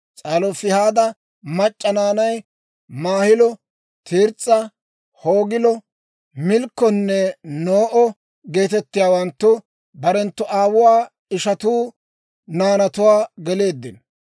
S'alofihaada mac'c'a naanay, Maahilo, Tirs's'o, Hoogilo, Milkkonne No'o geetettiyaawanttu, barenttu aawuwaa ishanttu naanatuwaa geleeddino.